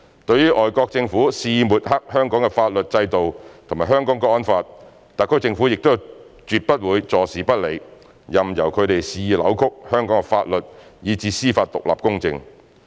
對於外國政府肆意抹黑香港的法律制度和《香港國安法》，特區政府亦絕不會坐視不理，任由他們肆意扭曲香港的法律以至司法獨立公正。